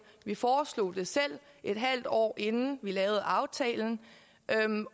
vi foreslog det selv et halvt år inden vi lavede aftalen